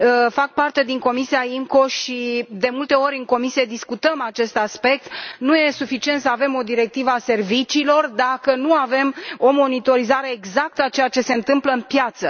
Fac parte din Comisia IMCO și de multe ori în cadrul comisiei discutăm acest aspect nu este suficient să avem o directivă a serviciilor, dacă nu avem o monitorizare exactă a ceea ce se întâmplă în piață.